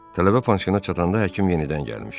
Tələbə panşkanına çatanda həkim yenidən gəlmişdi.